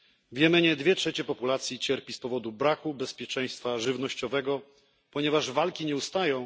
W Jemenie dwie trzecie populacji cierpi z powodu braku bezpieczeństwa żywnościowego, ponieważ walki nie ustają.